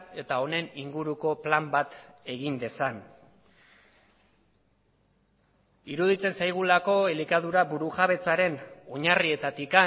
eta honen inguruko plan bat egin dezan iruditzen zaigulako elikadura burujabetzaren oinarrietatik